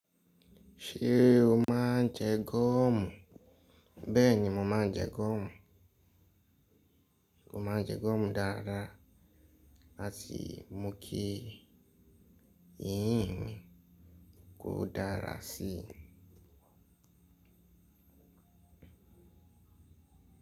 Ṣé o má ń jẹ gọ̀ọ̀mù? Bẹ́ẹ̀ni mo má ń jẹ gọ̀ọ̀mù. Mo má ń jẹ gọ̀ọ̀mù dáradára àti mu kí yìnyín kó dára sí.